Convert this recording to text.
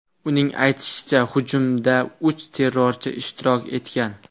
Uning aytishicha, hujumda uch terrorchi ishtirok etgan.